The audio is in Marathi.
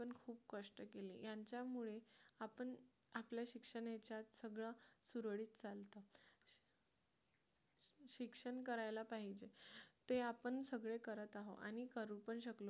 खूप कष्ट केले यांच्यामुळे आपण आपल्या शिक्षणाच्या सगळं सुरळीत चालतं शिक्षण करायला पाहिजे ते आपण सगळे करत आहोत आणि करू पण शकलो